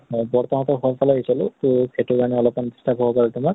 হয় বৰতা হঁতৰ ঘৰ ফালে আহিছিলো তো সেইটো কাৰণে অলপ disturb হব পাৰে তোমাক।